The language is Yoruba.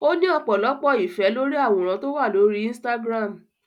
Ó ní ọ̀pọ̀lọpọ̀ ìfẹ́ lórí àwòrán tó wà lórí Instagram